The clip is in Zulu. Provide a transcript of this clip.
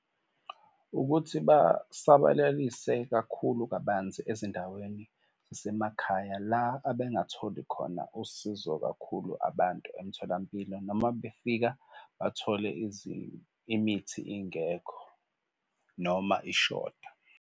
Ukuthi basabalalise kakhulu kabanzi ezindaweni zasemakhaya, la abengatholi khona usizo kakhulu abantu emtholampilo noma befika bathole imithi ingekho noma ishoda.